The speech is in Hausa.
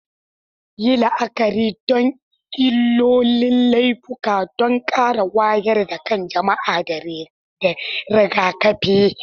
Yi la'akari da illolin laifuka don ƙara wayar da kan jama'a da rigakafi.